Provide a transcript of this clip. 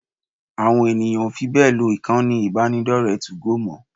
Àwọn èèyàn ò fi bẹ́ẹ̀ lo ìkànnì ìbánidọ́rẹ̀ẹ́ 2go mọ́